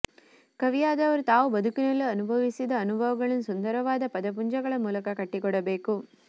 ಕವಿಯಾದವರು ತಾವು ಬದುಕಿನಲ್ಲಿ ಅನುಭವಿಸಿದ ಅನುಭವಗಳನ್ನು ಸುಂದರವಾದ ಪದಪುಂಜಗಳ ಮೂಲಕ ಕಟ್ಟಿಕೊಡಬೇಕು